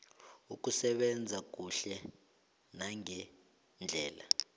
ukusebenza kuhle nangendlela